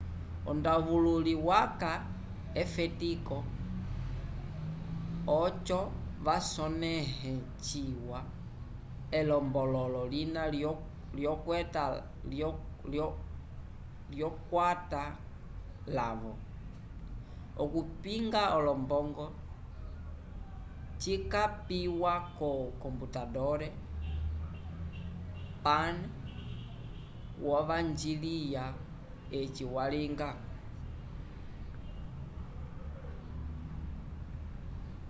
ondavululi waca efetivo oco vasonehe ciwa elombolo lina lyo kwata lavo okupinga olombongo cikapiwa ko computador pan wo vanjiliya eci walinga